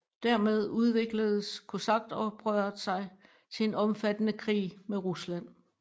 Dermed udvikledes kosakoprøret sig til en omfattende krig med Rusland